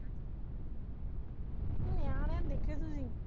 ਨਿਆਣਿਆਂ ਨੂੰ ਦੇਖੋ ਤੁਸੀਂ